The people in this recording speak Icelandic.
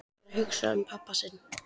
Hún var að hugsa um pabba sinn.